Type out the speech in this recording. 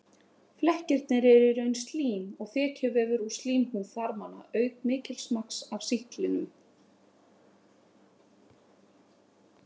Flekkirnir eru í raun slím og þekjuvefur úr slímhúð þarmanna auk mikils magns af sýklinum.